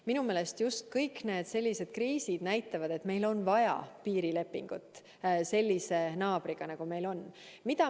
Minu meelest kõik sellised kriisid näitavad, et meil on just nimelt vaja piirilepingut sellise naabriga, nagu meil on.